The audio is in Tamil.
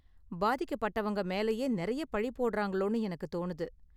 பாதிக்கப்பட்டவங்க மேலயே நிறைய பழி போடுறாங்களோனு எனக்கு தோணுது.